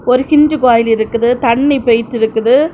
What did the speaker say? ஒரு கிஞ்சு போயில் இருக்குது தண்ணி போயிட்டு இருக்குது.